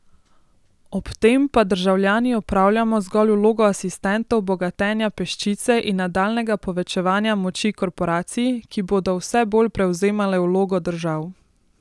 Ob tem pa državljani opravljamo zgolj vlogo asistentov bogatenja peščice in nadaljnjega povečevanja moči korporacij, ki bodo vse bolj prevzemale vlogo držav.